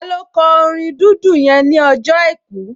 Taló kọ orin dídùn yẹn ní ọjọ́ àìkú?